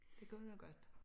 Det kunne det godt